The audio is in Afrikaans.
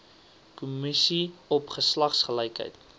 kommissie op geslagsgelykheid